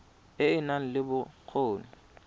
e e nang le bokgoni